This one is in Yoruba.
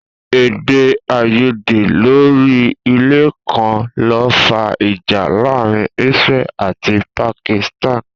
Èdè àìyédè lórí ilẹ̀ kan ló fà ìjà láàárín Israel àti Pakistan